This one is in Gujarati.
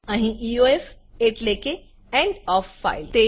અહી EOFએટલે કે એન્ડ ઓએફ ફાઇલ